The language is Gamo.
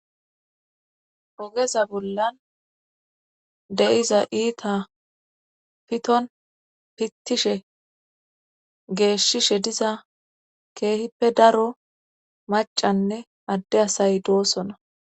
ogeza bollan deyiza iita piton pittishe geeshshishe diza keehippe daro macanne adde asay doosona